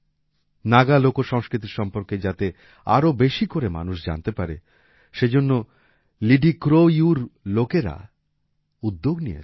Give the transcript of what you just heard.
নাগা লোকসংস্কৃতি সম্পর্কে যাতে আরো বেশি করে মানুষ জানতে পারে সেজন্য লিডিক্রোইউর লোকেরা উদ্যোগ নিয়েছেন